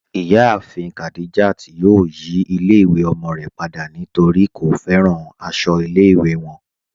Iyàáfin Khadijat yóò yí ilẹ̀-ìwé ọmọ rẹ̀ pada nítorí kò fẹ́ràn àṣọ ilẹ̀-ìwé wọn.